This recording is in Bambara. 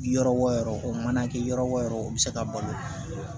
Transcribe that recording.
Yɔrɔ o yɔrɔ o mana kɛ yɔrɔ o yɔrɔ o bɛ se ka balo